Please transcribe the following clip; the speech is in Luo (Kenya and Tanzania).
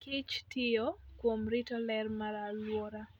kich tiyo kuom rito ler mar alwora.